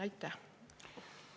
Aitäh!